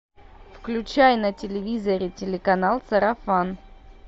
включай на телевизоре телеканал сарафан